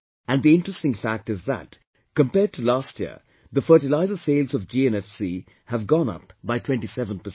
And the interesting fact is that compared to last year the fertilizer sales of GNFC have gone up by 27 percent